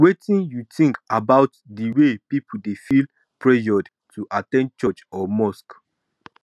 wetin you think about di way people dey feel pressured to at ten d church or mosque